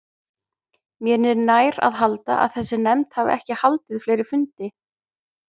Mér er nær að halda, að þessi nefnd hafi ekki haldið fleiri fundi.